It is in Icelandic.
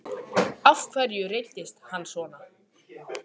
Af hverju reiddist hann svona?